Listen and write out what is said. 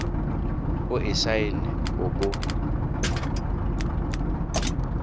o e saene o bo